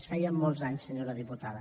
en feia molts anys senyora diputada